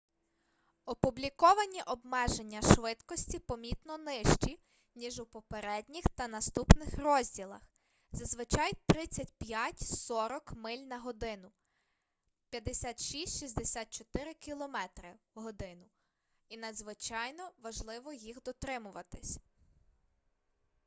опубліковані обмеження швидкості помітно нижчі ніж у попередніх та наступних розділах — зазвичай 35-40 миль/год 56-64 км/год — і надзвичайно важливо їх дотримуватися